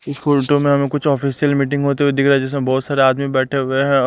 School में हमें कुछ ऑफिशियल मीटिंग होते हुए दिख रहा है जिसमें बहोत सारे आदमी बैठे हुए हैं।